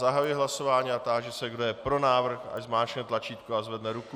Zahajuji hlasování a táži se, kdo je pro návrh, ať zmáčkne tlačítko a zvedne ruku.